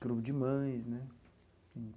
Clube de mães, né?